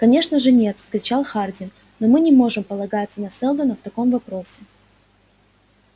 конечно же нет вскричал хардин но мы не можем полагаться на сэлдона в таком вопросе